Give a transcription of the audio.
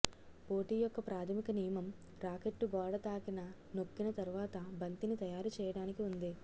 పోటీ యొక్క ప్రాధమిక నియమం రాకెట్టు గోడ తాకిన నొక్కిన తర్వాత బంతిని తయారు చేయడానికి ఉంది